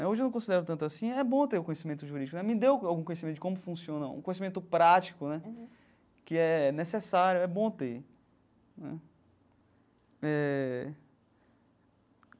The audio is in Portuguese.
Né hoje eu não considero tanto assim, é bom ter o conhecimento jurídico né, me deu algum conhecimento de como funciona, um conhecimento prático né, que é necessário, é bom ter né eh.